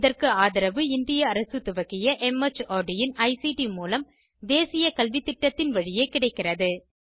இதற்கு ஆதரவு இந்திய அரசு துவக்கிய மார்ட் இன் ஐசிடி மூலம் தேசிய கல்வித்திட்டத்தின் வழியே கிடைக்கிறது